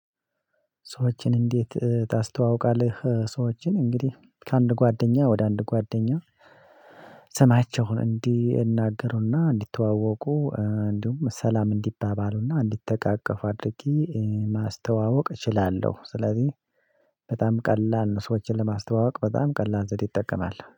ሰዎችን እንዴት ታስተዋውቃለህ ሰዎችን እንግዲህ ከአንድ ጓደኛ ወደ አንድ ጓደኛ ስማቸውን እንዲናገሩና እንዲተዋወቁ እንዲሁም ሰላም እንዲባባሉና እንዲተቃቀፉ አድርጌ ማስተዋወቅ እችላለሁ። ስለዚህ በጣም ቀላል ነው። ሰዎችን ለማስተዋወቅ በጣም ቀላል ዘዴ እጠቀማለሁ